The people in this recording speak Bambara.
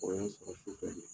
O ye n sɔrɔ sufɛ de.